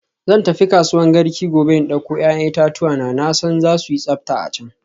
Zan tafi kasuwan Garki gobe in dauko 'ya'yan itatuwa na, na san za su yi tsafta a can.